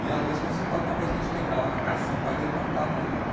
E, às vezes, consertar alguma coisa que a gente quebrava na casa, senão o pai dele matava ele, né?